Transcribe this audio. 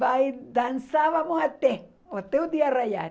Vai, dançávamos até, até o dia raiar.